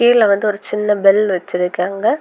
கீழ வந்து ஒரு சின்ன பெல் வச்சிருக்காங்க.